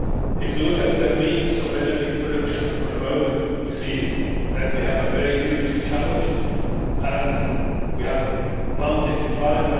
If you look at the means of energy production for the moment, we see that we have a huge challenge we have a mountain to climb.